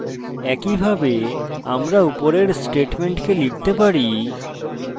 একইভাবে আমরা উপরের স্টেটমেন্টকে লিখতে পারি